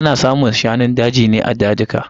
Ana samun shanun daji ne a dazuka.